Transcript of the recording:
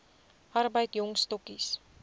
arbeid jong stokkies